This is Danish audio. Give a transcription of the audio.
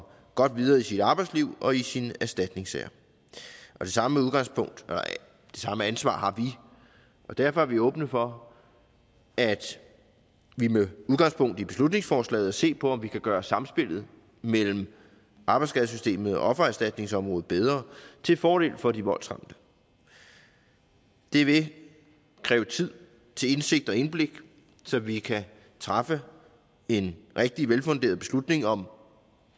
godt videre i sit arbejdsliv og i sin erstatningssag det samme ansvar har vi og derfor er vi åbne for at vi med udgangspunkt i beslutningsforslaget ser på om vi kan gøre samspillet mellem arbejdsskadesystemet og offererstatningsområdet bedre til fordel for de voldsramte det vil kræve tid til indsigt og indblik så vi kan træffe en rigtig velfunderet beslutning om